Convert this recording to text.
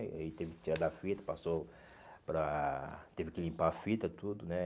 Eh ele teve que tirar da fita, passou para... teve que limpar a fita, tudo, né?